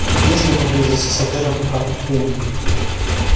есть ли поблизости с отелем каршеринг